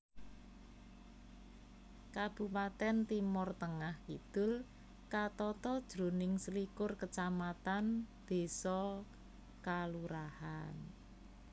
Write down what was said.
Kabupatèn Timor Tengah Kidul katata jroning selikur kacamatan désa/kalurahan